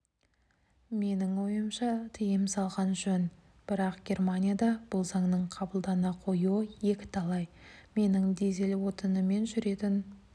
менің ойымша тыйым салған жөн бірақ германияда бұл заңның қабылдана қоюы екіталай менің дизель отынымен жүретін